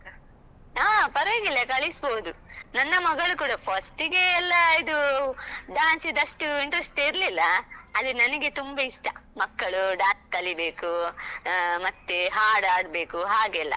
ಹಾ ಪರ್ವಾಗಿಲ್ಲ ಕಲಿಸ್ಬೋದು. ನನ್ನ ಮಗಳು ಕುಡಾ first ಗೆ ಎಲ್ಲ ಇದು dance ದು ಅಷ್ಟು interest ಇರ್ಲಿಲ್ಲ, ಆದ್ರೆ ನನ್ಗೆ ತುಂಬ ಇಷ್ಟ ಮಕ್ಕಳು dance ಕಲಿಬೇಕು ಅಹ್ ಮತ್ತೆ ಹಾಡು ಹಾಡ್ಬೇಕು ಹಾಗೆಲ್ಲ.